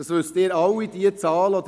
Das wissen Sie alle: